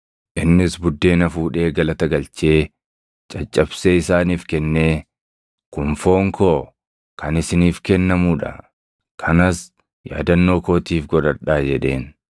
Innis buddeena fuudhee galata galchee, caccabsee isaaniif kennee, “Kun foon koo kan isiniif kennamuu dha; kanas yaadannoo kootiif godhadhaa” jedheen.